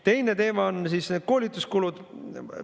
Teine teema on need koolituskulud.